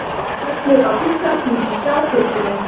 Smellið á Pistlar til að sjá pistilinn.